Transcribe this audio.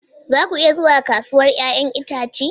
Za ku iya zuwa kasuwar 'ya'yan itace?